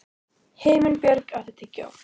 Himinbjörg, áttu tyggjó?